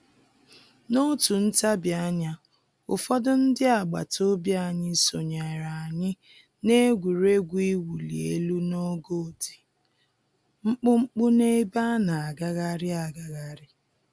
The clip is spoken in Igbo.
N'otu ntabianya, ụfọdụ ndị agbataobi anyị sonyere anyị n'egwuregwu iwuli elu n'ogo dị mkpụmkpụ n'ebe a na-agagharị agagharị